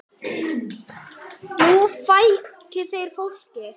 Nú fækki þeir fólki.